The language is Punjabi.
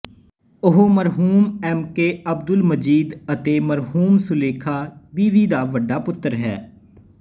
ਉਹ ਮਰਹੂਮ ਐਮ ਕੇ ਅਬਦੁਲ ਮਜੀਦ ਅਤੇ ਮਰਹੂਮ ਸੁਲੇਖਾ ਬੀਵੀ ਦਾ ਵੱਡਾ ਪੁੱਤਰ ਹੈ